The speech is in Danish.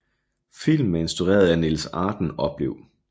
Filmen er instrueret af Niels Arden Oplev